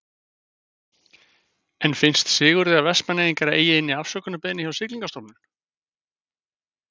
En finnst Sigurði að Vestmannaeyingar eigi inni afsökunarbeiðni hjá Siglingastofnun?